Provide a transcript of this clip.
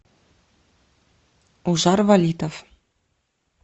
ушар валитов